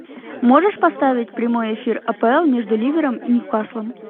можешь поставить прямой эфир апл между ливером и ньюкаслом